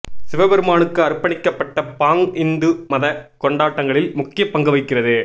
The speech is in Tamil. சிவபெருமானுக்கு அர்ப்பணிக்கப்பட்ட பாங் இந்து மத கொண்டாட்டங்களில் முக்கிய பங்கு வகிக்கிறது